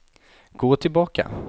gå tillbaka